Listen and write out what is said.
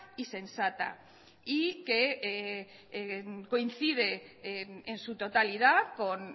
y sensata y que coincide en su totalidad con